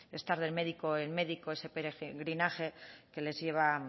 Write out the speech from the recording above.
estar en médico en médico ese peregrinaje que les lleva